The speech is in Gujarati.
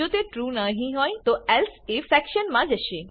જો તે ટ્રૂ નહી હોય તો એલ્સિફ સેક્શન માં જશે